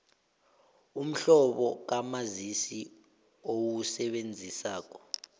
umhlobo kamazisi owusebenzisako